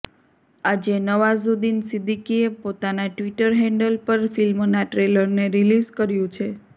આજે નવાઝુદ્દીન સિદ્દીકીએ પોતાના ટ્વિટર હેન્ડલ પર ફિલ્મનાં ટ્રેલરને રિલીઝ કર્યુ છે